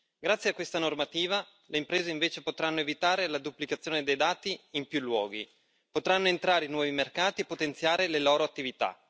Grazie a questa normativa, le imprese potranno invece evitare la duplicazione dei dati in più luoghi, potranno entrare in nuovi mercati e potenziare le loro attività.